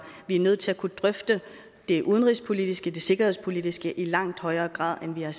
vi er nødt til at kunne drøfte det udenrigspolitiske og det sikkerhedspolitiske i langt højere grad end vi har